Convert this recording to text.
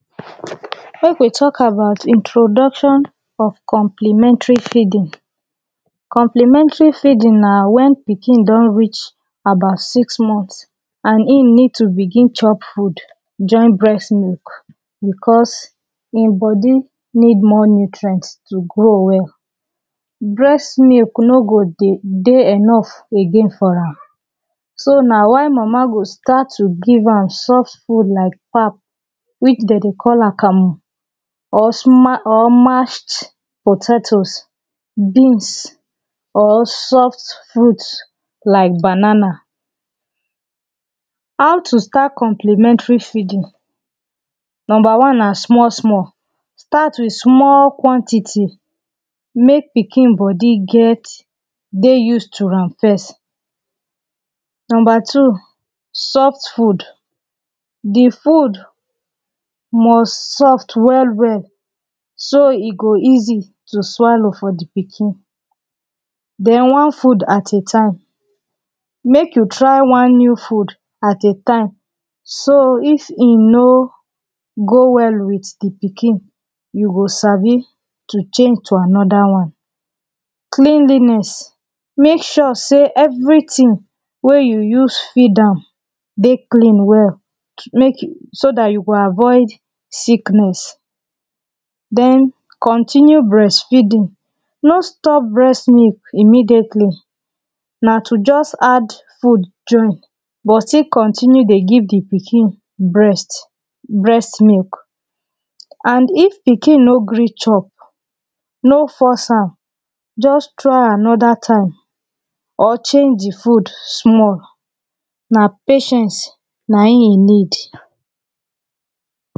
Make we talk about introduction of complementary feeding Complementary feeding na when pikin don reach about six months and hin need to begin chop food join breast milk because him body needs more nutrient to grow well. Breast milk no go dey dey enough again for am. So na why mama go start to dey give am soft food like pap which dey dey call akamu or sma or mashed potatoes beans or soft fruits like banana. How to start complementary feeding Number one na small small; start with small quantity make pikin body get dry used to am first Number two soft food; the food must soft well well so e go easy to swallow for the pikin then one food at a time, make you try one new food at a time make you try one new food at a time so if he no go well with the pikin you go Sabi change to another one. Cleanliness; make sure say everything wey you use feed am dey clean well to make so that you go avoid sickness then continue breastfeeding no stop breast milk immediately na to just add food join but still continue dey give the pikin breast milk and if pikin no gree chop no force am just trying another type or change the food small na patience na him you need